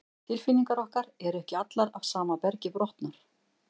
Tilfinningar okkar eru ekki allar af sama bergi brotnar.